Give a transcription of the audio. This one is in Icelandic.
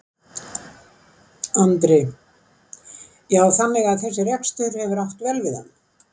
Andri: Já þannig að þessi rekstur hefur átt vel við hann?